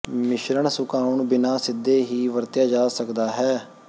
ਮਿਸ਼ਰਣ ਸੁਕਾਉਣ ਬਿਨਾ ਸਿੱਧੇ ਹੀ ਵਰਤਿਆ ਜਾ ਸਕਦਾ ਹੈ